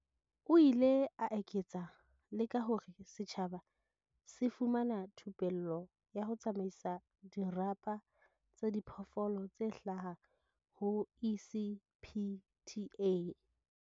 O ile a eketsa le ka hore setjhaba se fumana thupello ya ho tsamaisa dirapa tsa diphoofolo tse hlaha ho ECPTA.